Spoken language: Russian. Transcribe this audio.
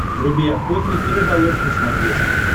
вруби охотник и рыболов на смотрешке